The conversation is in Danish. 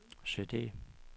CD